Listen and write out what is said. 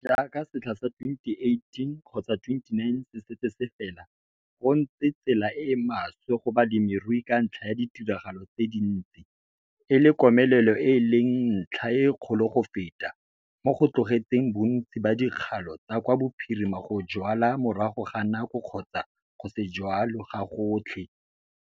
JAAKA SETLHA SA 2018-2019 SE SETSE SE FELA, GO NTSE TSELA E E MASWE GO BALEMIRUI KA NTLHA YA DITIRAGALO TSE DINTSI, E LE KOMELELO E E LENG NTLHA E KGOLO GO FETA, MO GO TLOGETSENG BONTSI BA DIKGALO TSA KWA BOPHIRIMA GO JWALA MORAGO GA NAKO KGOTSA GO SE JWALE GAGOTLHE.